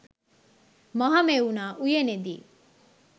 Mahamevna උයනේදී